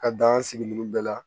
Ka dan sigi ninnu bɛɛ la